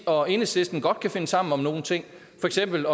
og enhedslisten godt kan finde sammen om nogle ting for eksempel